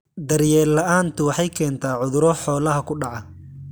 Daryeel la'aantu waxay keentaa cudurro xoolaha ku dhaca.